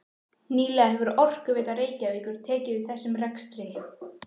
Nýlega hefur Orkuveita Reykjavíkur tekið við þessum rekstri.